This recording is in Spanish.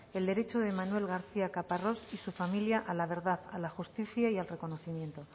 el derecho de manuel garcía caparrós y su familia a la verdad a la justicia y al reconocimiento